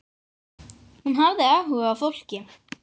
Hún hafði áhuga á fólki.